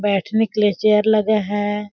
बैठने के लिए चेयर लगा है।